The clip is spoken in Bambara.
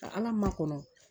ala ma kɔnɔ